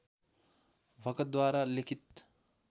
भगतद्वारा लिखित